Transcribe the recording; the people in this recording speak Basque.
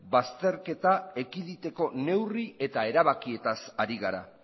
bazterketa ekiditeko neurri eta erabakietaz ari gara